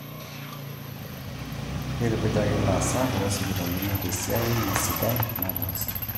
Keitukujaki ilaasak loosipitalini tesiai enye sidai nataasa